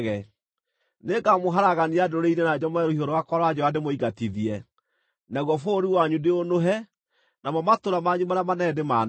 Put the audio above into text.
Nĩngamũharagania ndũrĩrĩ-inĩ na njomore rũhiũ rwakwa rwa njora ndĩmũingatithie. Naguo bũrũri wanyu ndĩũnũhe, namo matũũra manyu marĩa manene ndĩmanange.